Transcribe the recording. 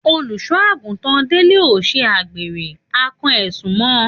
Òlúsọàgútan dẹlẹ ò sà gbẹ rẹ,à kán ẹsún mọ.